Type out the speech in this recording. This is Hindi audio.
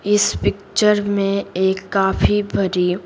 इस पिक्चर में एक काफी भरी--